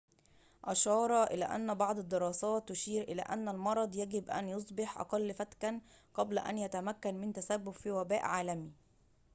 أشار إلى أن بعض الدراسات تشير إلى أن المرض يجب أن يصبح أقل فتكًا قبل أن يتمكن من التسبب في وباء عالمي